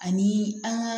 Ani an ka